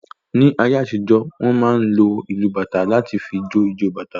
Ní ayé àtijó, wọn máa ń lò ìlu bàtá láti fí jo ìjọ bàtá